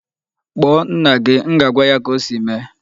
Kpọọ nna gị! M ga-agwa ya ka o si mee.